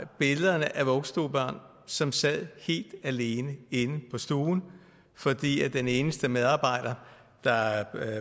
billederne af vuggestuebørn som sad helt alene inde på stuen fordi den eneste medarbejder der